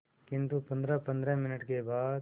किंतु पंद्रहपंद्रह मिनट के बाद